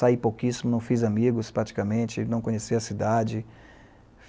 Saí pouquíssimo, não fiz amigos praticamente, não conheci a cidade.